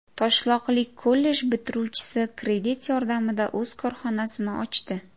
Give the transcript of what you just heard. Toshloqlik kollej bitiruvchisi kredit yordamida o‘z korxonasini ochdi.